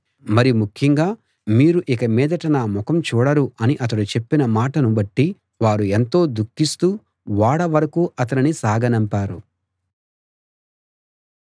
మరి ముఖ్యంగా మీరు ఇక మీదట నా ముఖం చూడరు అని అతడు చెప్పిన మాటను బట్టి వారు ఎంతో దుఃఖిస్తూ ఓడ వరకూ అతనిని సాగనంపారు